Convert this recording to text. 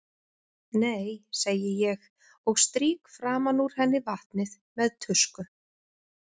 Nei, segi ég og strýk framan úr henni vatnið með tusku.